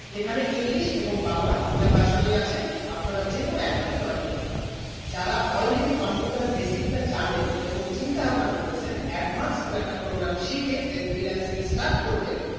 এইখানে english এবং বাংলা দুইটা ভাষণ ই আছে আপনারা যেকোনো একটা তে join করতে পারেন যারা already computer basic টা জানেন এবং চিন্তা ভাবনা করতেছেন advance কোনো একটা programme শিখে then freelancing এ start করবেন